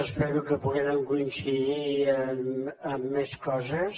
espero que puguem coincidir en més coses